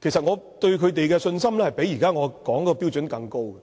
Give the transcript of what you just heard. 其實我對他們的信心，比現在我所說的標準更高。